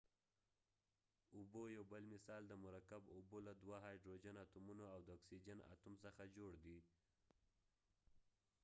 اوبه یو بل مثال دی مرکب اوبه له دوه هایدروجن اتومونو او د اکسیجن اتوم څخه جوړ دي